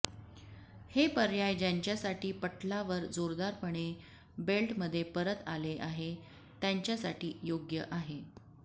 हे पर्याय ज्यांच्यासाठी पटलावर जोरदारपणे बेल्टमध्ये परत आले आहे त्यांच्यासाठी योग्य आहे